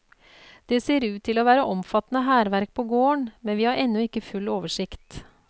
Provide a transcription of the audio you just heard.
Det ser ut til å være omfattende hærverk på gården, men vi har ennå ikke full oversikt.